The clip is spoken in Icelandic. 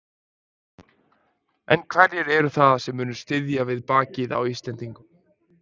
En hverjir eru það sem munu styðja við bakið á Íslendingum?